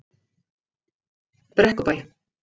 Brekkubæ